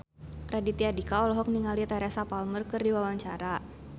Raditya Dika olohok ningali Teresa Palmer keur diwawancara